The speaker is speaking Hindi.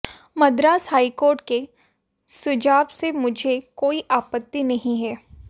मद्रास हाईकोर्ट के सुझाव से मुझे कोई आपत्ति नहीं है